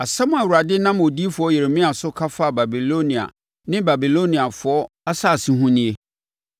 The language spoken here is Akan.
Asɛm a Awurade nam odiyifoɔ Yeremia so ka faa Babilonia ne Babiloniafoɔ asase ho nie: